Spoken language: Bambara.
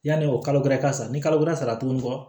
Yani o kalo ka sa ni kalo wɛrɛ sara tuguni kɔ